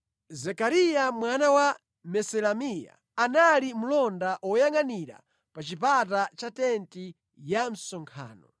Zekariya mwana wa Meselemiya anali mlonda woyangʼanira pa chipata cha tenti ya msonkhano.